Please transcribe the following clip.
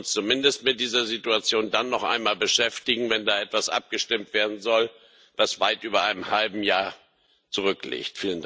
Wir sollten uns zumindest mit dieser Situation dann noch einmal beschäftigen, wenn da über etwas abgestimmt werden soll, was weit über ein halbes Jahr zurück liegt.